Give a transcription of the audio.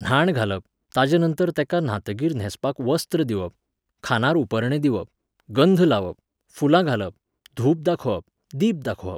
न्हाण घालप, ताजेनंतर तेका न्हातकीर न्हेंसपाक वस्त्र दिवप, खांदार उपरणें दिवप, गंध लावप, फुलां घालप, धूप दाखोवप, दीप दाखोवप.